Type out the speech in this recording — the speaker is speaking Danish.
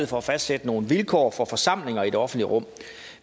for at fastsætte nogle vilkår for forsamlinger i det offentlige rum